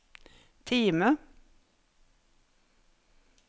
Time